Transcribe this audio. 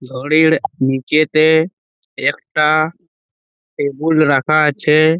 ঘড়ির নীচেতে একটা টেবুল রাখা আছে।